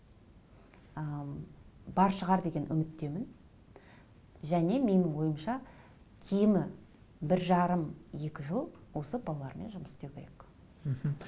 ы бар шығар деген үміттемін және менің ойымша кемі бір жарым екі жыл осы балалармен жұмыс істеу керек мхм